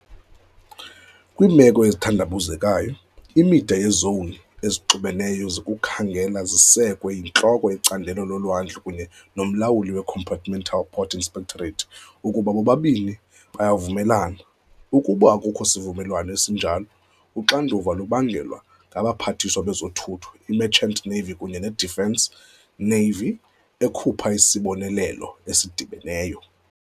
Kwiimeko ezithandabuzekayo, imida yezowuni ezixubeneyo zokukhangela zisekwe yintloko yecandelo lolwandle kunye nomlawuli weCompartmental Port Inspectorate ukuba bobabini bayavumelana. Ukuba akukho sivumelwano esinjalo, uxanduva lubangelwa ngabaPhathiswa bezoThutho, i-Merchant Navy kunye ne-Defence, Navy, ekhupha isibonelelo esidibeneyo.